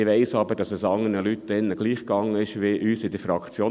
Ich weiss aber, dass es anderen Leuten hier gleich erging wie unserer Fraktion.